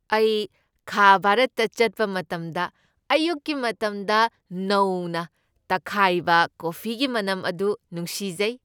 ꯑꯩ ꯈꯥ ꯚꯥꯔꯠꯇ ꯆꯠꯄ ꯃꯇꯝꯗ ꯑꯌꯨꯛꯀꯤ ꯃꯇꯝꯗ ꯅꯧꯅ ꯇꯛꯈꯥꯏꯕ ꯀꯣꯐꯤꯒꯤ ꯃꯅꯝ ꯑꯗꯨ ꯅꯨꯡꯁꯤꯖꯩ꯫